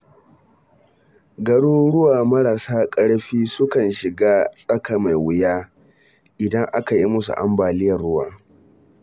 Garuruwa marasa ƙarfi sukan shiga tsaka-mai-wuya, idan aka yi musu ambaliyar ruwa.